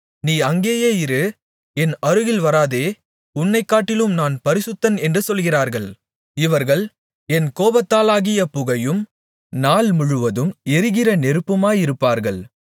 நீ அங்கேயே இரு என் அருகில் வராதே உன்னைகாட்டிலும் நான் பரிசுத்தன் என்று சொல்கிறார்கள் இவர்கள் என் கோபத்தாலாகிய புகையும் நாள்முழுவதும் எரிகிற நெருப்புமாயிருப்பார்கள்